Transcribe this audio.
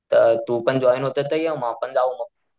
तर तू पण जॉईन होतोय तर ये मग आपण जाऊ मग.